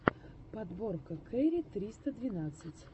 подборка кэрри триста двенадцать